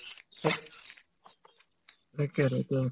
তাকেটো ত